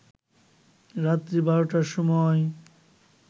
রাত্রি ১২টার সময়